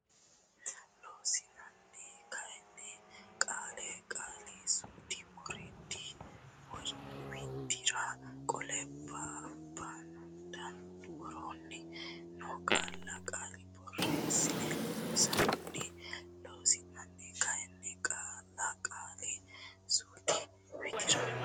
Loossinanni kayinni qaalla qaali suudu widira qolle babbande woroonni noo qaalla qaali borreessino Loossinanni Loossinanni kayinni qaalla qaali suudu widira.